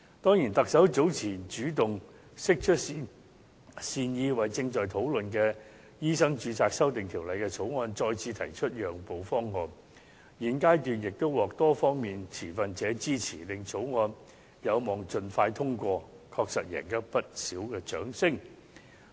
當然，特首早前主動釋出善意，為正在討論的《醫生註冊條例草案》再次提出讓步方案，現階段亦獲多方面持份者支持，令草條例案有望盡快通過，確實贏取不少掌聲。